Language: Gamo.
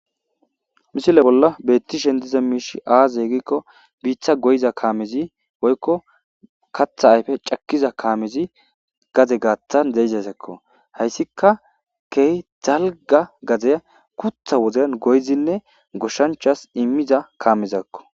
misile bolla beettishen diza miishi aazeegikko biitha goyza kaamezi woykko katha ayfe cakkiza kaamezi gade gaathan zeizasakko hayssika key zalga gazeya gutha woden goyzinne goshshanchas immiza kaamezakko